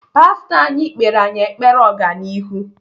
Pastọ anyị kpere anyị ekpere ọganihu.